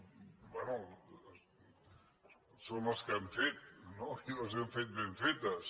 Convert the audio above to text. bé són les que hem fet no i les hem fet ben fetes